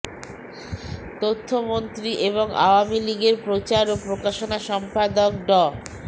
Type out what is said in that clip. তথ্যমন্ত্রী এবং আওয়ামী লীগের প্রচার ও প্রকাশনা সম্পাদক ড